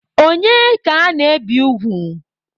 Onye ka ana-ebi ugwu?